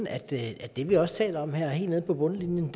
at det at det vi også taler om her helt nede på bundlinjen